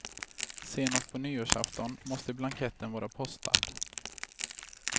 Senast på nyårsafton måste blanketten vara postad.